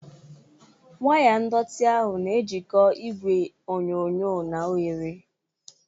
Waya ndọtị ahụ na-ejikọ igwe onyonyo na oghere